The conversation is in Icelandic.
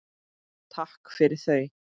Takk fyrir þau.